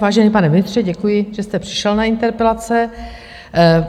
Vážený pane ministře, děkuji, že jste přišel na interpelace.